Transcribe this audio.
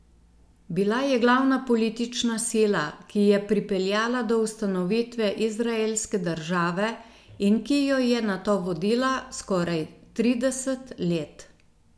Bila je glavna politična sila, ki je pripeljala do ustanovitve Izraelske države in ki jo je nato vodila skoraj trideset let.